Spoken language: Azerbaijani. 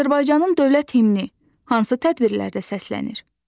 Azərbaycanın dövlət himni hansı tədbirlərdə səslənir?